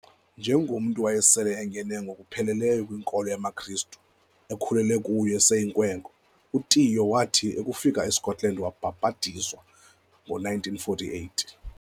Njengomntu owayesele engene ngokupheleleyo kwinkolo yamaKristu, ekhulele kuyo eseyinkwenkwe, uTiyo wathi akufika eScotland wabhabhatizwa ngo1948.